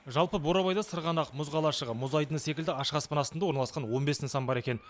жалпы бурабайда сырғанақ мұз қалашығы мұз айдыны секілді ашық аспан астында орналасқан он бес нысан бар екен